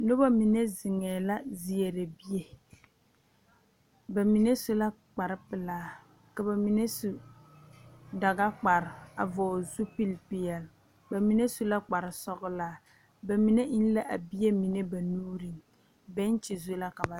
Noba mine zeŋee la seɛrɛ bie ba mine su la kpar pelaa ka ba mine su dagakpar a vɔgele zupili peɛle ba mine su la kpar sɔgelaa ba mine eŋ la a bie mine ba nuureŋ bɛŋekyi zu la ka ba zeŋ